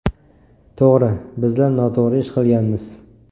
To‘g‘ri, bizlar noto‘g‘ri ish qilganmiz.